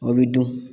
O bɛ dun